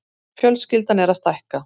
Fjölskyldan er að stækka.